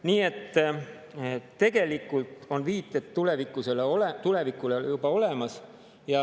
Nii et tegelikult on viited tulevikule juba olemas.